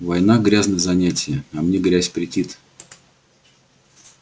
война грязное занятие а мне грязь претит